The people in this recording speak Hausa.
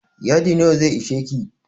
Yadi nawa zai isheki?